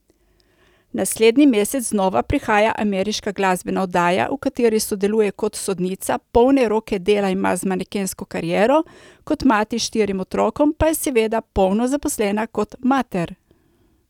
Naslednji mesec znova prihaja ameriška glasbena oddaja, v kateri sodeluje kot sodnica, polne roke dela ima z manekensko kariero, kot mati štirim otrokom pa je seveda polno zaposlena kot mater.